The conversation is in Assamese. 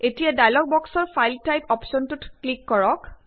এতিয়া ডায়লগ বক্সৰ ফাইল টাইপ অপ্শ্বনটোত ক্লিক কৰক